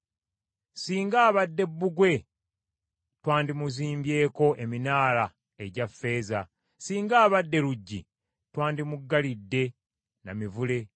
Singa abadde bbugwe twandimuzimbyeko eminaala egya ffeeza, singa abadde luggi twandimuggalidde na mivule.